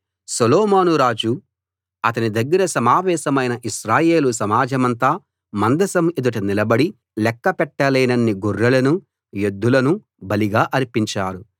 సొలొమోను రాజు అతని దగ్గర సమావేశమైన ఇశ్రాయేలు సమాజమంతా మందసం ఎదుట నిలబడి లెక్క పెట్టలేనన్ని గొర్రెలనూ ఎద్దులనూ బలిగా అర్పించారు